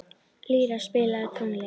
Lýra, spilaðu tónlist.